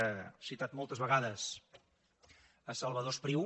ha citat moltes vegades salvador espriu